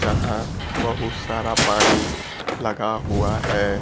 जहां बहुत सारा पानी लगा हुआ है।